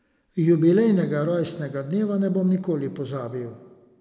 Jubilejnega rojstnega dneva ne bom nikoli pozabil.